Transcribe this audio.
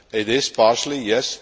It is partially, yes.